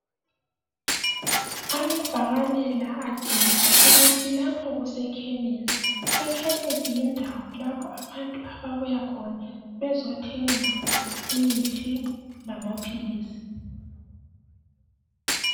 Amabhakane la atshengisa ukuthi lapha kusekhemisi. Ekhemisi yindawo lapho abantu ababuya khona bezothenga imithi lamaphilisi.